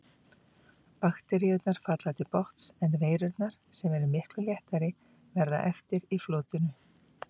Bakteríurnar falla til botns en veirurnar, sem eru miklu léttari, verða eftir í flotinu.